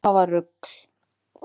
Það var rugl